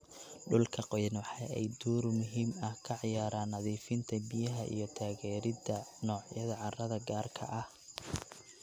Dhulka qoyan waxa ay door muhiim ah ka ciyaaraan nadiifinta biyaha iyo taageeridda noocyada carrada gaarka ah.